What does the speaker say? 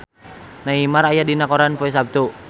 Neymar aya dina koran poe Saptu